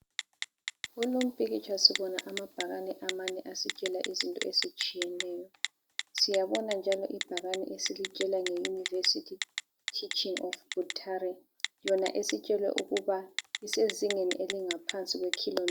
Kulompikitsha sibona amabhakane amane asitshela izinto ezitshiyeneyo. Siyabona njalo ibhakane esilitshela ngeUniversity Teaching of Buthari yona esitshelwe ukuba isezingeni elingaphansi kwekhilomitha.